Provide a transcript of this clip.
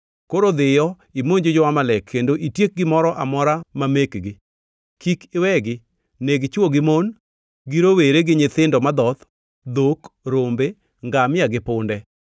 Koro dhiyo imonj jo-Amalek kendo itiek gimoro amora ma mekgi. Kik iwegi; neg chwo gi mon, gi rowere gi nyithindo madhoth, dhok, rombe, ngamia gi punde.’ ”